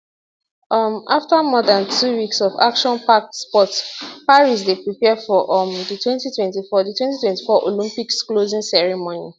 um afta more dan two weeks of actionpacked sport paris dey prepare for um di 2024 di 2024 olympics closing ceremony